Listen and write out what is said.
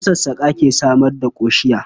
Masassƙa ke samar da ƙoshiya.